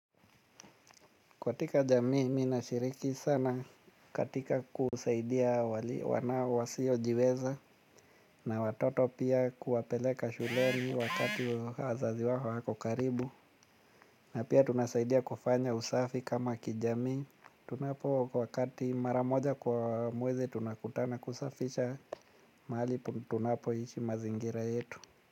Katika jamii mimi nashiriki sana katika kusaidia wana wasiojiweza na watoto pia kuwapeleka shuleni wakati wazazi wao hawapo karibu. Na pia tunasaidia kufanya usafi kama kijamii. Tunapo kwa wakati maramoja kwa mwezi tunakutana kusafisha mahali tunapoishi mazingira yetu.